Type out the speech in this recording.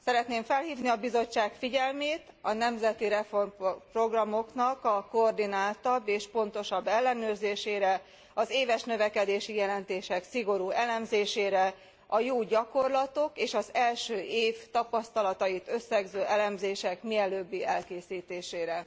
Szeretném felhívni a Bizottság figyelmét a nemzeti reformprogramoknak a koordináltabb és pontosabb ellenőrzésére, az éves növekedési jelentések szigorú elemzésére, a jó gyakorlatok és az első év tapasztalatait összegző elemzések mielőbbi elkészítésére.